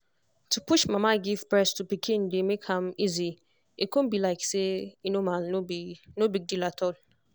to push mama give breast to pikin dey make am easy e go con be like say e normal no big deal at all